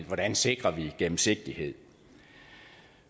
hvordan sikrer vi gennemsigtighed